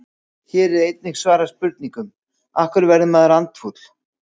Hér er einnig svarað spurningunum: Af hverju verður maður andfúll?